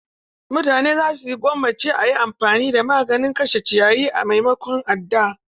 Mutane za su gwammace a yi amfani da maganin kashe ciyayi a maimakon adda.